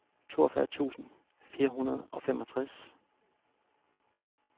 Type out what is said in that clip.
toogfyrre tusind fire hundrede og femogtres